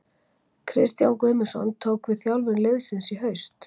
Kristján Guðmundsson tók við þjálfun liðsins í haust.